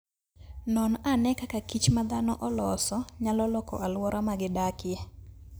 Non ane kaka kich ma dhano oloso, nyalo loko alwora ma gidakie.